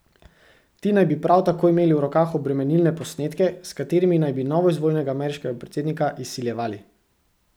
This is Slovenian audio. Ti naj bi prav tako imeli v rokah obremenilne posnetke, s katerimi naj bi novoizvoljenega ameriškega predsednika izsiljevali.